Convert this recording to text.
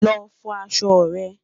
lọ fọ aṣọ rẹ